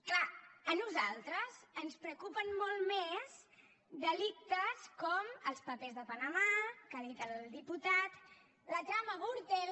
és clar a nosaltres ens preocupen molt més delictes com els papers de panamà que ha dit el diputat la trama gürtel